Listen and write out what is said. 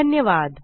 धन्यवाद